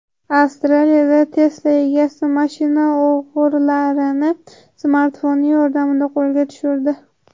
Avstraliyada Tesla egasi mashina o‘g‘rilarini smartfoni yordamida qo‘lga tushirdi.